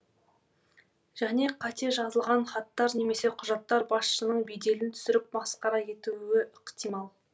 және қате жазылған хаттар немесе құжаттар басшыңның беделін түсіріп масқара етуі ықтимал